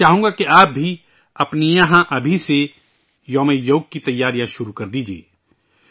میں چاہوں گا کہ آپ بھی اپنے یہاں ابھی سے 'یوس دیوس' کی تیاریاں شروع کردیجئے